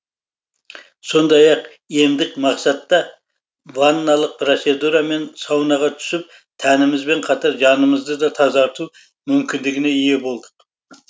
сондай ақ емдік мақсатта ванналық процедура мен саунаға түсіп тәнімізбен қатар жанымызды да тазарту мүмкіндігіне ие болдық